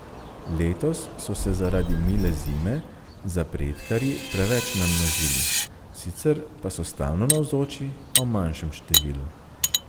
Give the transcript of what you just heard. Letos so se zaradi mile zime zapredkarji preveč namnožili, sicer pa so stalno navzoči, a v manjšem številu.